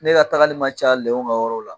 Ne ka tagali ma ca lɛw ka yɔrɔ la.